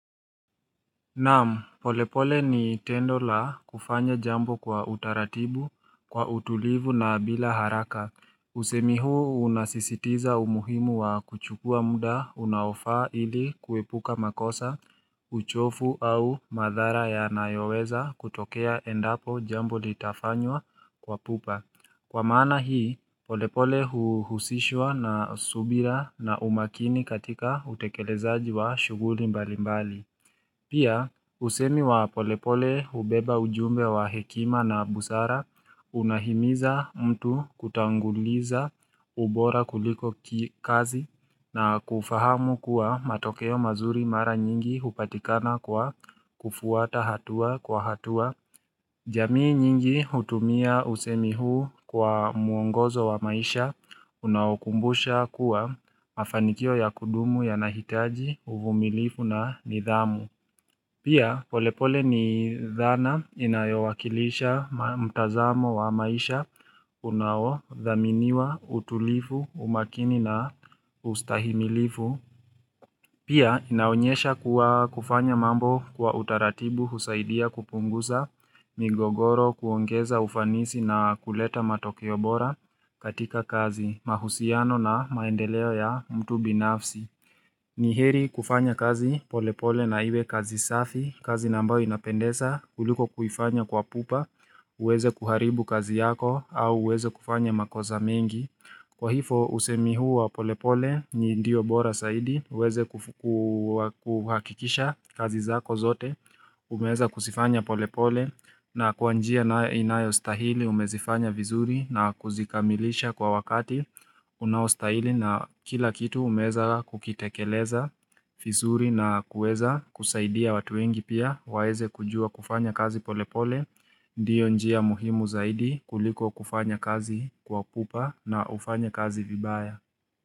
Naam, polepole ni tendo la kufanya jambo kwa utaratibu, kwa utulivu na bila haraka. Usemi huu unasisitiza umuhimu wa kuchukua muda unaofaa ili kuepuka makosa, uchovu au madhara yanayoweza kutokea endapo jambo litafanywa kwa pupa. Kwa maana hii, polepole huhusishwa na subira na umakini katika utekelezaji wa shughuli mbalimbali. Pia, usemi wa polepole hubeba ujumbe wa hekima na busara unahimiza mtu kutanguliza ubora kuliko kazi na kufahamu kuwa matokeo mazuri mara nyingi hupatikana kwa kufuata hatua kwa hatua. Jamii nyingi hutumia usemi huu kwa mwongozo wa maisha unaowakumbusha kuwa mafanikio ya kudumu yanahitaji uvumilivu na nidhamu. Pia polepole ni dhana inayowakilisha mtazamo wa maisha unaodhaminiwa utulivu umakini na ustahimilivu. Pia inaonyesha kuwa kufanya mambo kwa utaratibu husaidia kupunguza migogoro kuongeza ufanisi na kuleta matokeo bora katika kazi mahusiano na maendeleo ya mtu binafsi. Ni heri kufanya kazi polepole na iwe kazi safi, kazi na ambayo inapendeza kuliko kufanya kwa pupa, uweze kuharibu kazi yako au uweze kufanya makosa mengi. Kwa hivyo, usemi huu wa polepole ni ndiyo bora zaidi, uweze kuhakikisha kazi zako zote, umeweza kuzifanya polepole na kwa njia inayostahili, umezifanya vizuri na kuzikamilisha kwa wakati unaostahili na kila kitu umeweza kukitekeleza vizuri na kuweza kusaidia watu wengi pia, waweze kujua kufanya kazi polepole. Ndio njia muhimu zaidi kuliko kufanya kazi kwa pupa na ufanye kazi vibaya.